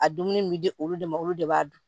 A dumuni min bɛ di olu de ma olu de b'a dun